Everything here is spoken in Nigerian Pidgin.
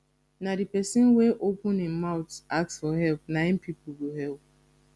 na de pesin wey open im mouth ask for help na im pipo go help